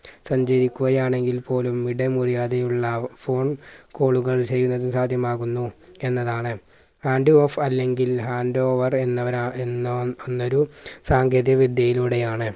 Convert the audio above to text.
സഞ്ചരിക്കുകയാണെങ്കിൽ പോലും ഇടമുറിയാതെയുള്ള phone call കൾ ചെയ്യുന്നത് സാധ്യമാകുന്നു എന്നതാണ്. hand off അല്ലെങ്കിൽ hand over എന്നവരാ എന്നവ എന്നൊരു സാങ്കേതിക വിദ്യയിലൂടെയാണ്